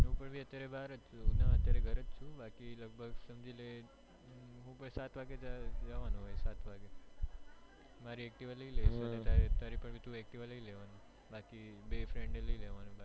હું પણ અત્યારે બહારજ છું ઘરેજ છુ બાકી સમજી લે હું પણ સાંજે સાત વાગે જવાનું સાત વાગે મારી activa લઇ લેવાનું અને તારી પણ activa લઇ લેવાનું બાકી બે friend ને લઇ લેવાનું